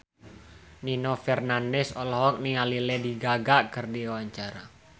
Nino Fernandez olohok ningali Lady Gaga keur diwawancara